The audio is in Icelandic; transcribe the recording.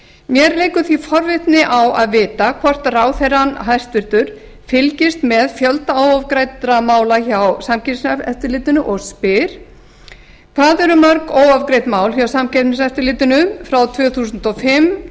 mér leikur því forvitni á að vita hvort hæstvirtur ráðherra fylgist með fjölda óafgreiddra mála hjá samkeppniseftirlitinu og spyr fyrstu hvað eru mörg óafgreidd mál hjá samkeppniseftirlitinu frá tvö þúsund og fimm